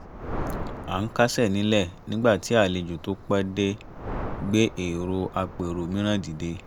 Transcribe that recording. à ń kásẹ̀ nílẹ̀ nígbà tí àlejò tó pẹ́ dé gbé èrò àpérò mìíràn dìde